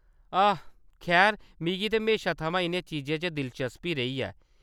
आह्‌‌, खैर, मिगी ते म्हेशा थमां इʼनें चीजें च दिलचस्पी रेही ऐ।